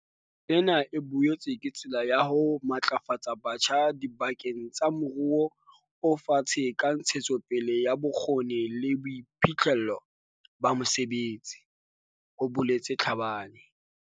"Ena e boetse ke tsela ya ho matlafatsa batjha diba keng tsa moruo o fatshe ka ntshetsopele ya bokgoni le boiphihlello ba mosebetsi," ho boletse Tlhabane.